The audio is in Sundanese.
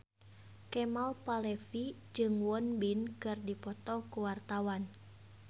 Kemal Palevi jeung Won Bin keur dipoto ku wartawan